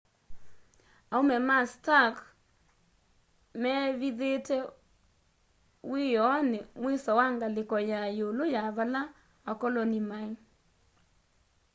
aume ma stark meevithite wiioni mwiso wa ngaliko ya yiulu ya vala akoloni mai